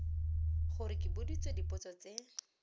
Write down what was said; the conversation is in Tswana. gore ke boditswe dipotso tse